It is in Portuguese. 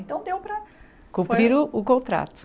Então deu para... Cumprir o contrato.